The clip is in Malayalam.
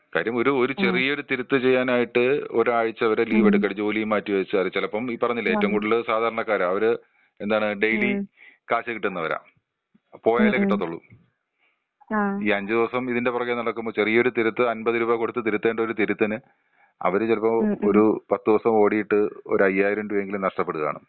കാര്യം ഒരു ചെറിയ തിരുത്ത് ചെയ്യാനായിട്ട് ഒരാഴ്ച വരെ ലീവെടുക്ക ജോലിം മാറ്റിവെച്ച് ചെലപ്പം ഈ പറഞ്ഞില്ലെ? ഏറ്റവും കൂടുതൽ സാധാരണക്കാര്. അവര് എന്താണ് ഡയിലി, കാഷ്കിട്ടുന്നവരാ. പോയാലെ കിട്ടത്തൊള്ളൂ. ഈ അഞ്ച് ദിവസം ഇതിന്റെ പിറകേ നടക്കുമ്പൊ ചെറിയ ഒരു തിരുത്ത് ഒരമ്പത് രൂപ കൊടുത്ത് തിരുത്തേണ്ട ഒരു തിരുത്തിന് അവര് ചെലപ്പോ ഒരു പത്തീസം ഓടീട്ട് ഒരയ്യായിരം രൂപ എങ്കിലും നഷ്ട്ടപ്പെട്ട് കാണും.